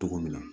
Togo min na